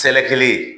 Sɛgɛ kelen ye